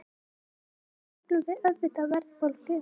Það köllum við auðvitað verðbólgu.